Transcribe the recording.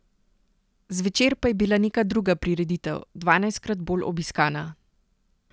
Zvečer pa je bila neka druga prireditev, dvanajstkrat bolj obiskana.